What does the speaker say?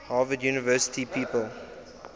harvard university people